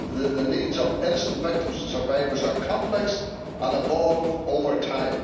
The needs of innocent victims and survivors are complex and evolve over time.